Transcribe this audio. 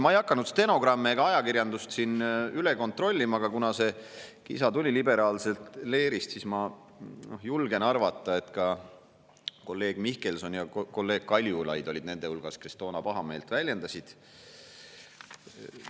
Ma ei hakanud stenogrammi ega ajakirjandust üle kontrollima, aga kuna see kisa tuli liberaalsest leerist, siis ma julgen arvata, et ka kolleegid Mihkelson ja Kaljulaid olid nende hulgas, kes toona pahameelt väljendasid.